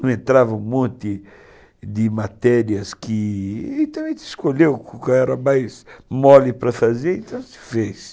Não entrava um monte de matérias que... Então a gente escolheu o que era mais mole para fazer, então se fez.